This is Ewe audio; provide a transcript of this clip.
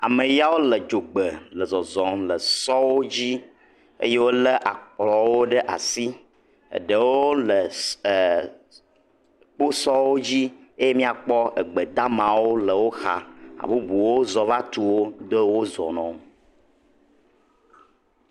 Ame yawo le dzogbe le zɔzɔm le sɔwo dzi eye wole akplɔwo ɖe asi. Eɖewo le kposɔwo dzi eye mia kpɔ egbedamawo le wò xa. Hã bubuwo zɔ va tu wò ye wò zɔ nɔ.